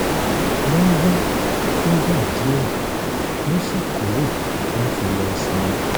wọ́n wá fúngbà díẹ̀ wọ́n sì kúrò láti lọ sinmi